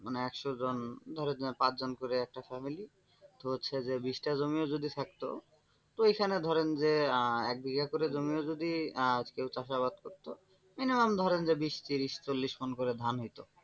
মানে একশো জন ধরেন যে পাঁচজন করে একটা family তো হচ্ছে যে বিষটা জমিও যদি ও থাকত তো। এখানে ধরেন যে আহ এক বিঘা করে জমিও যদি আহ কেউ চাষাবাদ করত minimum ধরেন যে বিষ, ত্রিশ, মণ করে ধান হইত।